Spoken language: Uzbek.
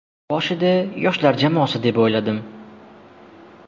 Boshida yoshlar jamoasi deb o‘yladim.